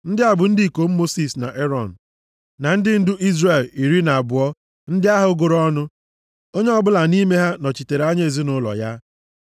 Ndị a bụ ndị ikom Mosis na Erọn, na ndị ndu Izrel iri na abụọ ndị ahụ gụrụ ọnụ, onye ọbụla nʼime ha nọchitere anya ezinaụlọ ya.